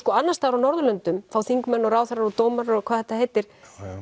annars staðar á Norðurlöndum fá þingmenn ráðherrar og dómarar og hvað þetta heitir